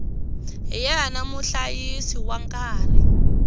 hi yena muhlayisi wa nkarhi